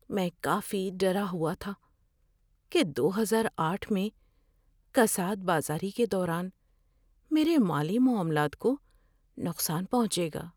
میں کافی ڈرا ہوا تھا کہ دو ہزار آٹھ میں کساد بازاری کے دوران میرے مالی معاملات کو نقصان پہنچے گا۔